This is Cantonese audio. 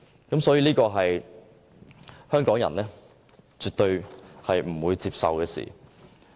這是香港人絕對不會接受的事情。